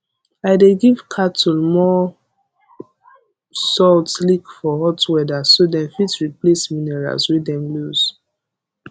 i dey give cattle more salt lick for hot weather so dem fit replace minerals wey dem lose